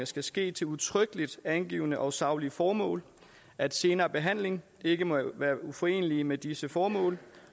skal ske til udtrykkeligt angivne og saglige formål at senere behandling ikke må være uforenelig med disse formål